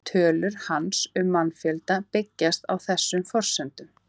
Tölur hans um mannfjölda byggjast á þessum forsendum.